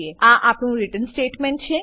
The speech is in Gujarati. આ આપણું રીટર્ન સ્ટેટમેંટ છે